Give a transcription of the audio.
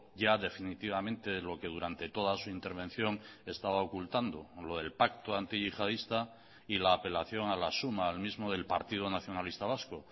ya definitivamente lo que durante toda su intervención estaba ocultando lo del pacto antiyihadista y la apelación a la suma al mismo del partido nacionalista vasco